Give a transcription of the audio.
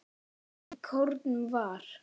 Í kórnum var